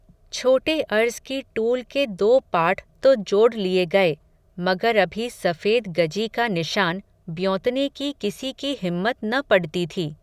छोटे अर्ज़ की टूल के दो पाट तो जोड लिये गये, मगर अभी सफ़ेद गजी क़ा निशान, ब्योंतने की किसी की हिम्मत न पडती थी